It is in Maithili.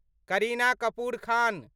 करीना कपूर खान